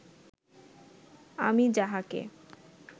আমি যাহাকে